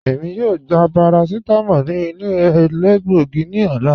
Èmi yóò gbà paracetamól ní ilẹ̀ èlẹ́gbọ̀gí ní òlà.